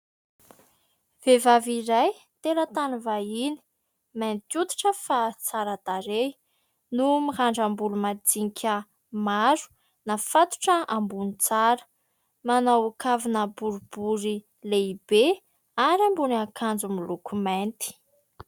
Vehivavy iray, teratany vahiny, mainty hoditra fa tsara tarehy no mirandram-bolo majinika maro, nafatotra ambony tsara. Manao kavina boribory lehibe ary ambony akanjo miloko mainty.